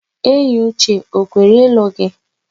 Eyiuche o kwere ịlụ gị?